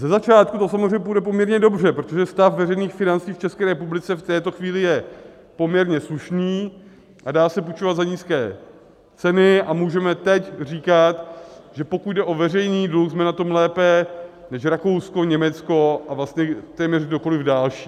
Ze začátku to samozřejmě půjde poměrně dobře, protože stav veřejných financí v České republice v této chvíli je poměrně slušný a dá se půjčovat za nízké ceny a můžeme teď říkat, že pokud jde o veřejný dluh, jsme na tom lépe než Rakousko, Německo a vlastně téměř kdokoliv další.